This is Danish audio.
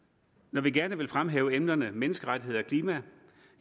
når vi gerne vil fremhæve emnerne menneskerettigheder og klima